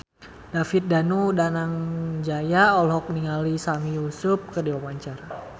David Danu Danangjaya olohok ningali Sami Yusuf keur diwawancara